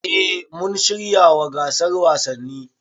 Eh mun shiryawa gasar wasanni